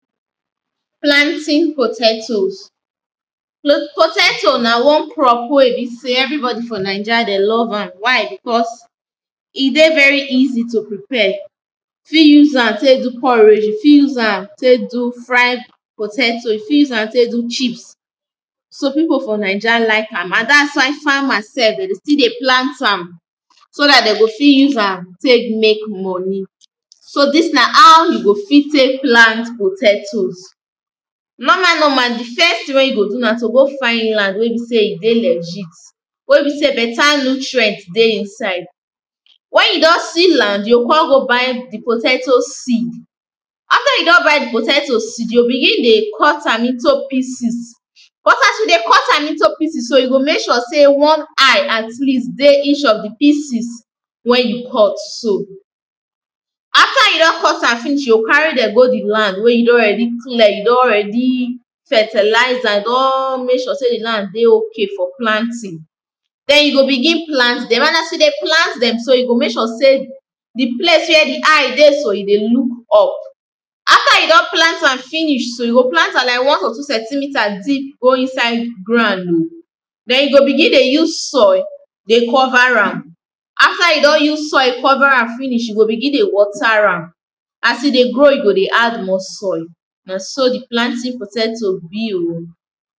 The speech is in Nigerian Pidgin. Planting potatoes. Potato na one crop wey be sey everybody for Naija dem love am. Why becos e dey very easy to prepare. You fit use am take do porridge, you fit use am take do fry potato, you fit use take do chips. So pipo for Naija like am and dat is why farmers self dem dey still dey plant am so dat dem go fit use a take make money. So dis na how you go fit take plant potatoes Normal normal di first thing wey you go do na to go find land wey be sey e dey legit wey be sey better nutrient dey inside Wen you don seal am, you go come go buy di potato seed After you don buy di potato seed, you go begin dey cut am into pieces but as you dey cut am into pieces so, you go make sure sey at least one eye dey each of di pieces wey you cut so. After you don cut am finish, you go carry dem go di land wey you don ready clear, you don ready fertilize am, you don make sure di land dey okay for planting then you go begin plant dem and as you dey plant dem so, you go make sure sey di place wey di eye dey so e dey look up After you don plant finish so, you go plant like one to two centimeter deep go inside ground oh then you go begin dey use soil dey cover am. After you don use soil cover am finish, you go begin dey water am as e dey grow, you go dey add more soil, na so di planting potato be oh.